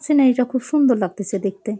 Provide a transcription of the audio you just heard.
Scenery -টা খুব সুন্দর লাগতেছে দেখতে।